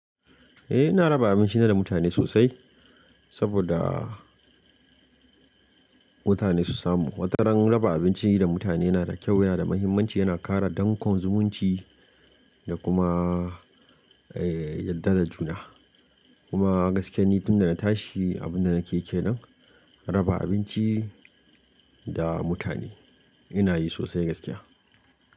Eh, ina raba abinci na da mutane sosai saboda mutane su samu. Wataran raba abinci da mutane yana da kyau yana da muhimmanci, yana ƙara dankon zumunci da kuma eh yadda da juna. Kuma gaskiya nitin da na tashi abin da nakeyi kenan raba abinci da mutane ina yi sosai gaskiya.